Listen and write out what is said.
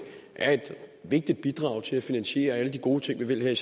er et vigtigt bidrag til at finansiere alle de gode ting vi vil her